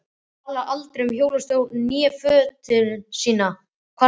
Talar aldrei um hjólastól né fötlun sína, kvartar aldrei.